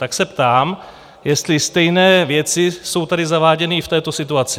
Tak se ptám, jestli stejné věci jsou tady zaváděny i v této situaci?